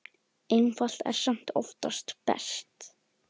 Einfalt er samt oftast best.